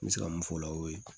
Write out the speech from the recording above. N bɛ se ka mun fɔ o la o ye